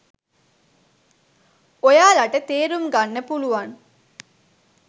ඔයාලට තේරුම් ගන්න පුලුවන්